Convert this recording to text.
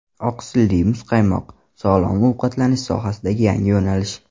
Oqsilli muzqaymoq: sog‘lom ovqatlanish sohasida yangi yo‘nalish.